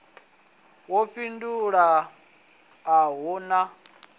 yo fhindulwa a hu na